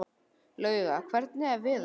Lauga, hvernig er veðurspáin?